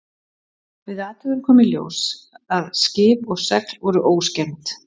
Við athugun kom í ljós að skip og segl voru óskemmd.